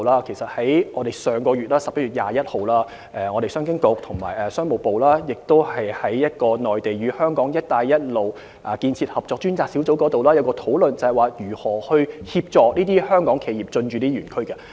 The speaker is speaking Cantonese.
在上月21日，商經局和商務部在內地與香港"一帶一路"建設合作專責小組會議上，曾就如何協助香港企業進駐這些園區進行討論。